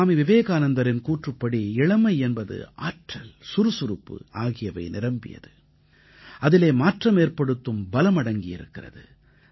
ஸ்வாமி விவேகானந்தரின் கூற்றுப்படி இளமை என்பது ஆற்றல் சுறுசுறுப்பு ஆகியவை நிரம்பியது அதிலே மாற்றமேற்படுத்தும் பலம் அடங்கியிருக்கிறது